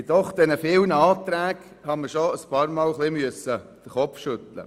Bei all den vielen Anträgen musste ich bisweilen ein bisschen den Kopf schütteln.